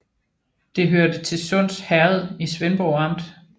Det hørte til Sunds Herred i Svendborg Amt